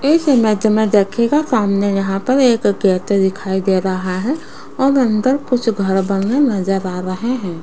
इस इमेज देखिएगा सामने यहां पर एक गेट दिखाई दे रहा है और अंदर कुछ घर बने नजर आ रहे हैं।